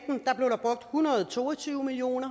hundrede og to og tyve million